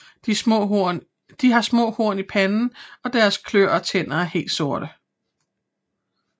De har små horn i panden og deres klør og tænder er helt sorte